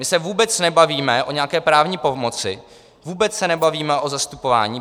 My se vůbec nebavíme o nějaké právní pomoci, vůbec se nebavíme o zastupování.